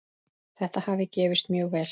Þetta hafi gefist mjög vel.